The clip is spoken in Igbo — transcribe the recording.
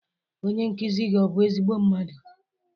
Onye nkuzi gị ọ bụ ezigbo mmadụ?